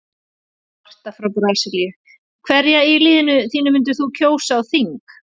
Marta frá Brasilíu Hverja í liðinu þínu myndir þú kjósa á þing?